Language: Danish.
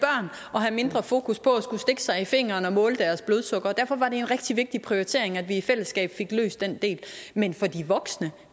og have mindre fokus på at skulle stikke sig i fingeren og måle deres blodsukker derfor var det en rigtig vigtig prioritering at vi i fællesskab fik løst den del men for de voksne